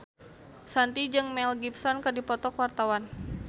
Shanti jeung Mel Gibson keur dipoto ku wartawan